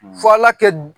Fɔ ala kɛ